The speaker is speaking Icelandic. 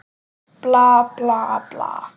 Bla, bla, bla.